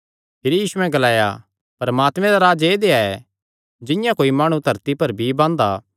भिरी यीशुयैं ग्लाया परमात्मे दा राज ऐदेया ऐ जिंआं कोई माणु धरती पर बीई बांदा